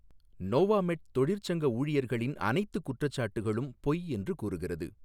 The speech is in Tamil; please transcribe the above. நோவாமெட் தொழிற்சங்க ஊழியர்களின் அனைத்துக் குற்றச்சாட்டுகளும் பொய் என்று கூறுகிறது.